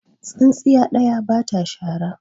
tsintsiya ɗaya ba ta shara